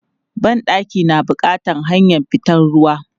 Ban ɗaki na bukatan hanyar fitan ruwa.